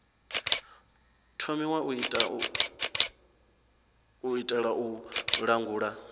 thomiwa u itela u langula